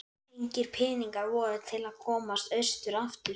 Engir peningar voru til að komast austur aftur.